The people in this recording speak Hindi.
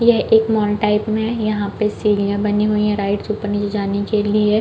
यह एक मॉल टाइप में यहाँ पे सीढ़िया बनी हुई है राइट से ऊपर जाने के लिए--